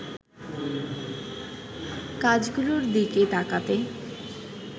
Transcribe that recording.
কাজগুলোর দিকে তাকাতে